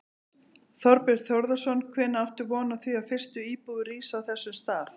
Þorbjörn Þórðarson: Hvenær áttu von á því að fyrstu íbúðir rísi á þessum stað?